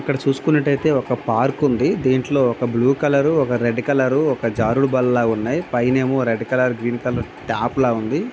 ఇక్కడ చూసుకున్నట్టైతే ఒక పార్క్ ఉంది దీంట్లో ఒక బ్లూ కలర్ ఒక రెడ్ కలర్ ఒక జారుడుబల్లల ఉన్నది పైనా ఏమో red colour green colour tap లాగా ఉన్నది.